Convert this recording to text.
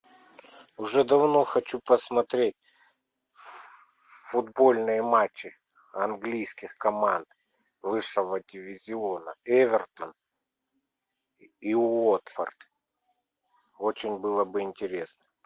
уже давно хочу посмотреть футбольные матчи английских команд высшего дивизиона эвертон и уотфорд очень было бы интересно